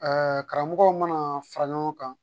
karamɔgɔw mana fara ɲɔgɔn kan